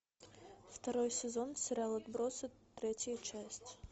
второй сезон сериал отбросы третья часть